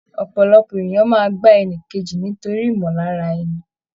Ọpọlọpọ èèyàn máa gbà ẹnìkejì nítorí ìmọ lára ẹni.